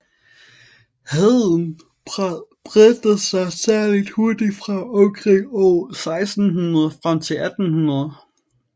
Heden bredte sig særlig hurtigt fra omkring år 1600 frem til år 1800